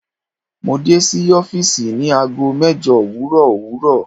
Mo de si ọfiisi ni aago mẹjọ owurọ owurọ